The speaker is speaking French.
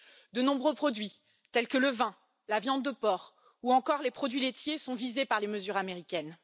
De nombreux produits tels que le vin, la viande de porc ou encore les produits laitiers sont visés par les mesures américaines.